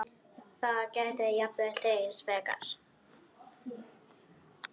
Það gæti jafnvel dregist frekar.